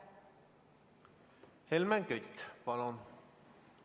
Helmen Kütt, palun!